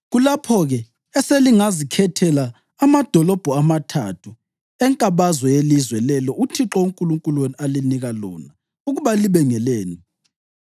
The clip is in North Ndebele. kulapho-ke eselingazikhethela amadolobho amathathu enkabazwe yelizwe lelo uThixo uNkulunkulu wenu alinika lona ukuba libe ngelenu.